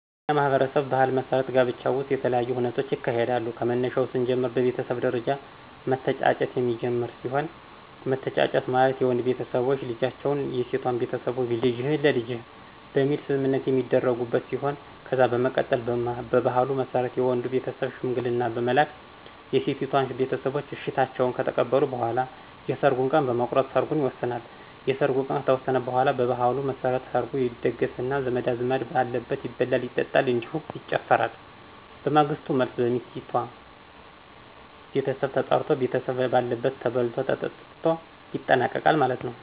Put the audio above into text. በእኛ ማህበረሰብ ባህል መሠረት ጋብቻ ውሰጥ የተለያዪ ሁነቶች ይካሄዳሉ ከመነሻው ሰንጀምር በቤተሰብ ደረጃ መተጫጨት የሚጀመር ሲሆን መተጫጨት ማለት የወንድ ቤተሰቦች ልጃቸው የሴቷን ቤተሰቦች ልጅህን ለልጄ በሚል ሰምምነት የሚተደርጉበት ሲሆን ከዛ በመቀጠል በባህሉ መሰረት የወንዱ ቤተሰብ ሸምንግልና በመላክ የሴቲቷን ቤተሰቦች እሸታቸውን ከተቀበሉ በኋላ የሰርጉን ቀን በመቁረጥ ሰርጉን ይወሰናል። የሰርጉ ቀን ከተወሰነ በኋላ በባህሉ መሰረት ሰርጉ ይደገሰና ዘመድ አዝማድ በአለበት ይበላል ይጠጣል እንዲሁም ይጨፈራል በማግሰቱ መልሰ በሚሰቲቷ ቤተሰብ ተጠራርቶ ቤተሰብ ባለበት ተበልቶ ተጠትቶ ይጠናቀቃል ማለት ነው።